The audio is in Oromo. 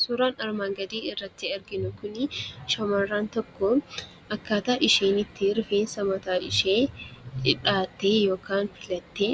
Suuraan armaan gadiitti argaa jirru shamarreen tokko akkaataa isheen itti rifeensa mataa ishee dhahattee yookaan filattee